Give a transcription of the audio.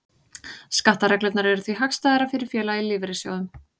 Skattareglurnar eru því hagstæðar fyrir félaga í lífeyrissjóðum.